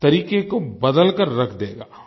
तरीक़े को बदल कर रख देगा